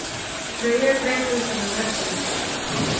Freyja greip utan um Eddu.